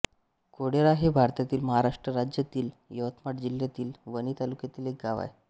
कोळेरा हे भारतातील महाराष्ट्र राज्यातील यवतमाळ जिल्ह्यातील वणी तालुक्यातील एक गाव आहे